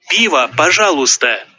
пожалуйста